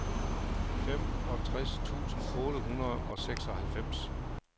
femogtres tusind otte hundrede og seksoghalvfems